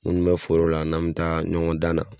Munnu be foro la n'an be taa ɲɔgɔn dan na